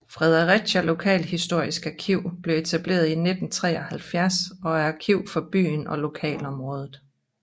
Fredericia Lokalhistorisk Arkiv blev etableret i 1973 og er arkiv for byen og lokalområdet